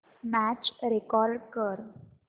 match record कर